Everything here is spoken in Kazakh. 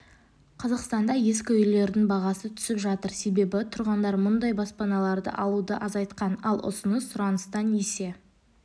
қазақстанда ескі үйлердің бағасы түсіп жатыр себебі тұрғындар мұндай баспаналарды алуды азайтқан ал ұсыныс сұраныстан есе